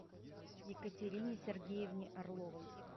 екатерине сергеевне орловой